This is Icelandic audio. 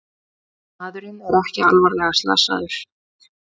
Maðurinn er ekki alvarlega slasaðir